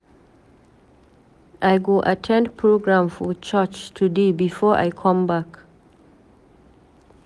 I go at ten d program for church today before I come back.